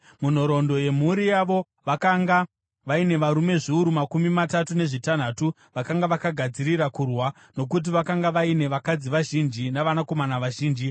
Munhoroondo yemhuri yavo, vakanga vaine varume zviuru makumi matatu nezvitanhatu vakanga vakagadzirira kurwa, nokuti vakanga vaine vakadzi vazhinji navanakomana vazhinji.